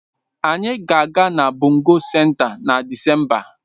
Anyị ga-aga na bongo senta na Disemba